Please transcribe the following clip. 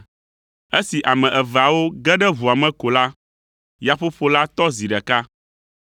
Esi ame eveawo ge ɖe ʋua me ko la, yaƒoƒo la tɔ zi ɖeka.